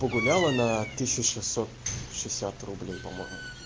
погуляла на тысячу шестьсот шестьдесят рублей по-моему